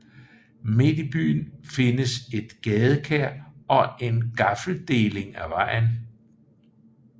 Midt i byen findes et gadekær og en gaffeldeling af vejen